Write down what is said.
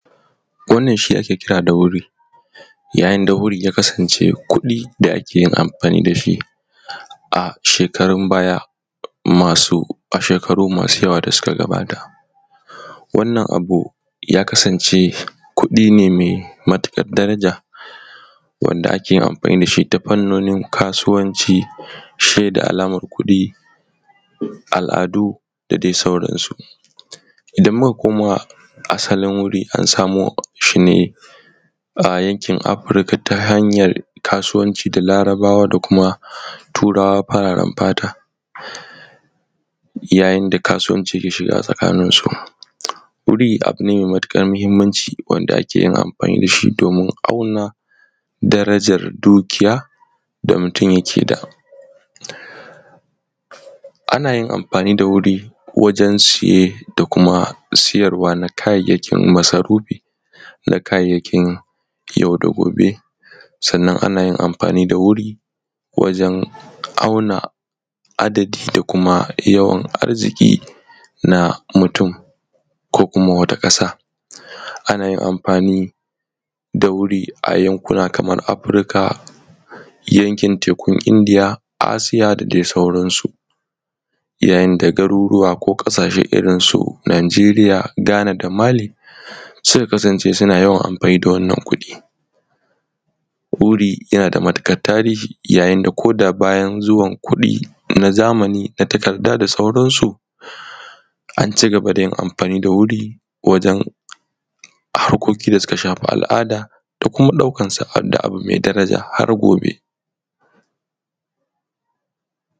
Wannan shi ake kira da wirin yanayin da wirin ya kasance kuɗin da ake amfani da shi a shekaru masu yawa da suka gabata, wannan abu ya kasance kuɗi ne mai matuƙar daraja wanda ake amfani da shi ta fannonin kasuwanci, alamar kuɗi al’adu da sauransu idan muka koma asalin wuri an samu shi ne a yankin Afrika ta hanyan kasuwanci da Larabawa da kuma Turawa fararen fata yayin da kasuwanci ke shiga tsakaninsu, wuri abu ne mai matuƙar mahinmanci da ake yin amfani da shi domin auna darajar dukiya da mutum yake da, ana yin amfani da wuri wajen siye da siyarwa na kayayyakin masarufi da kayayyakin yauda gobe, sannan ana yin amfani da wuri wajen auna adadi da kuma yawan arziƙi na mutum ko kuma wata ƙasa, ana yin amfani da wuri a yankuna kaman haka: yankin tekun Indiya, Asiya da dai sauransu, yayin da garuruwa ko ƙasashe irinsu: Najeria. Ghana, da Mali suka kasance suna yawan amfani da wannan kuɗi wuri yana da matuƙar tarihi inda ko da yayin zuwan kuɗi na zamani na takarda da sauransu an ci gaba da yin amfani da wuri duk a harkoki da suka shafi al’ada da kuma ɗaukansa abu mai daraja har gobe.